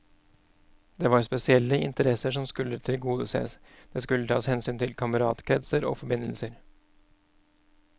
Det var spesielle interesser som skulle tilgodeses, det skulle tas hensyn til kameratkretser og forbindelser.